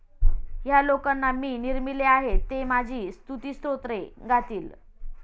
ह्या लोकांना मी निर्मिले आहे. ते माझी स्तुतिस्तोत्रे गातील.